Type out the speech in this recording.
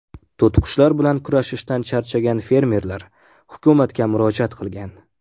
To‘tiqushlar bilan kurashishdan charchagan fermerlar hukumatga murojaat qilgan.